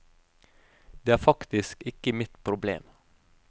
Det er faktisk ikke mitt problem.